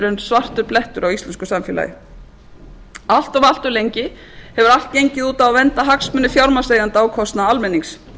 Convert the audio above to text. raun svartur blettur á íslensku samfélagi allt of lengi hefur allt gengið út á að vernda hagsmuni fjármagnseigenda á kostnað almennings